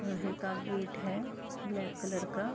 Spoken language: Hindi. लोहे का गेट है ब्लैक कलर का।